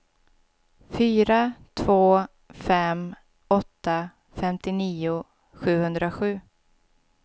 fyra två fem åtta femtionio sjuhundrasju